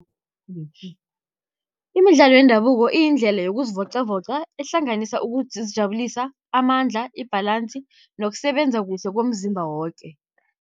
Imidlalo yendabuko iyindlela yokuzivocavoca ehlanganisa ukuzijabulisa, amandla i-balance nokusebenza kuhle komzimba woke.